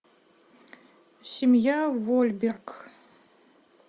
семья вольберг